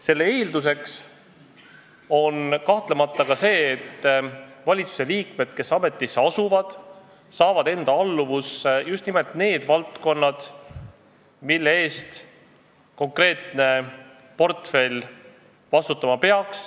Selle eeldus on kahtlemata ka see, et valitsuse liikmed saavad enda alluvusse just nimelt need valdkonnad, mille eest konkreetne portfell vastutama peaks.